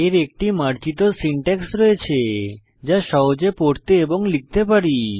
এর একটি মার্জিত সিনট্যাক্স রয়েছে যা সহজে পড়তে এবং লিখতে পারি